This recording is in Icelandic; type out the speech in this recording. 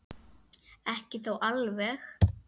Ekki þó alveg.